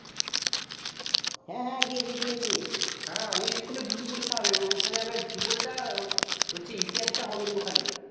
হ্যাঁ হ্যাঁ গিয়েছি গিয়েছি হ্যাঁ ওই school এ দুটো পরীক্ষা হবে ওখানে হবে ভূগোল তা আর ইতিহাস তা হবে ওখানে